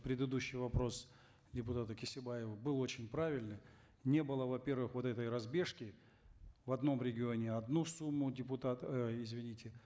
предыдущий вопрос депутата кесебаевой был очень правильный не было во первых вот этой разбежки в одном регионе одну сумму депутат э извините